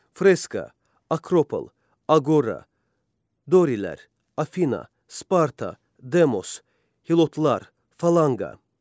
Freska, Akropol, Agora, Dorilər, Afina, Sparta, Demos, Hilotlar, Falanqa.